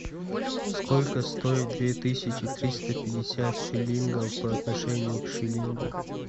сколько стоит две тысячи триста пятьдесят шиллингов по отношению к шиллингу